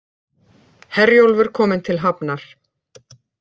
Herjólfur kominn til hafnar